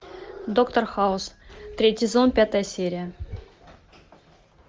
доктор хаус третий сезон пятая серия